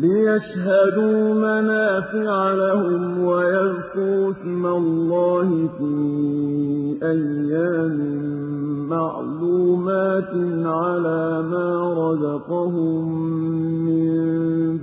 لِّيَشْهَدُوا مَنَافِعَ لَهُمْ وَيَذْكُرُوا اسْمَ اللَّهِ فِي أَيَّامٍ مَّعْلُومَاتٍ عَلَىٰ مَا رَزَقَهُم مِّن